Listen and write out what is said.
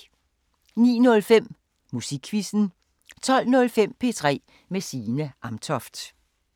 09:05: Musikquizzen 12:05: P3 med Signe Amtoft